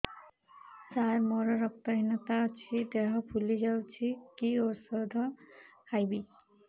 ସାର ମୋର ରକ୍ତ ହିନତା ଅଛି ଦେହ ଫୁଲି ଯାଉଛି କି ଓଷଦ ଖାଇବି